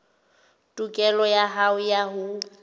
tokelo ya hao ya ho